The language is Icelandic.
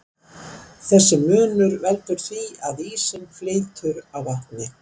Þessi munur veldur því að ísinn flýtur á vatni.